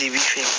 I bi fɛ